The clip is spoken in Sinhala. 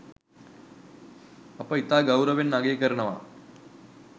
අප ඉතා ගෞරවයෙන් අගය කරනවා